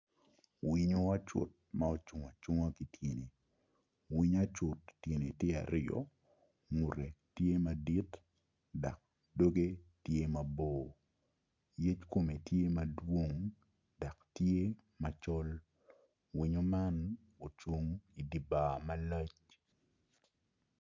Winyo acut ma ocung acunga ki tyene winyo acut tyene tye aryo ngute tye madit dok doge tye mabor yec kome tye madwong dok tye macol winyo man ocung idye bar malac.